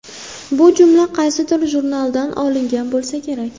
Bu jumla qaysidir jurnaldan olingan bo‘lsa kerak.